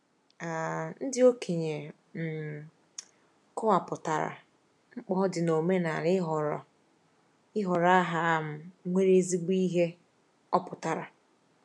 um Ndị okenye um kọwapụtara, mkpa ọ dị n'omenala ịhọrọ ịhọrọ aha um nwere ezigbo ihe ọpụtara.